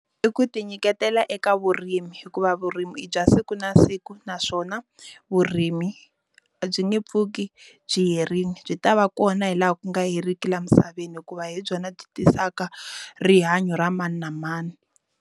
I ku ti nyiketela eka vurimi hikuva vurimi i bya siku na siku naswona vurimi byi nge pfuki byi herile byi ta va kona hi laha ku nga heriki laha misaveni hikuva hi byona byi tisaka rihanyo ra mani na mani.